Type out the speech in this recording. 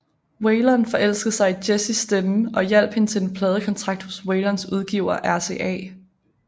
Waylon forelskede sig i Jessis stemme og hjalp hende til en pladekontrakt hos Waylons udgiver RCA